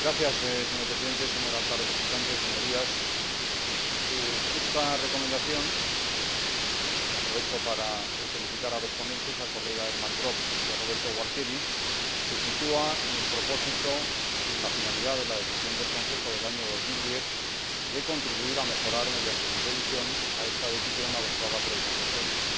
Señor Presidente, señora Alta Representante, Señorías, esta Recomendación —aprovecho para felicitar a los ponentes, Elmar Brok y Roberto Gualtieri— se sitúa en el propósito y en la finalidad de la Decisión del Consejo del año 2010 de contribuir a mejorar, mediante su revisión, esta Decisión adoptada por el Consejo de Ministros.